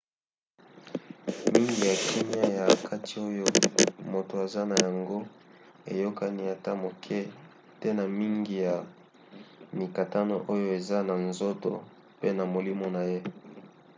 mingi ya kimia ya kati oyo moto aza na yango eyokani ata moke te na mingi ya mikakatano oyo eza na nzoto pe na molimo na ye